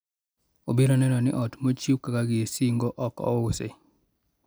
obiro neno ni ot ma ochiw kaka gir singo ok ousi